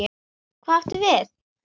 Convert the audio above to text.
Hvað áttu við?